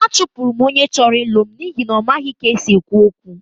Achụpụrụ m onye chọrọ ịlụ m n'ihi na ọ maghị ka e si ekwu okwu